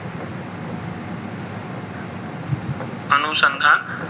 અનુસંધાન.